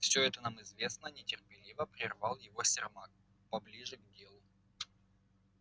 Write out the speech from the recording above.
всё это нам известно нетерпеливо прервал его сермак поближе к делу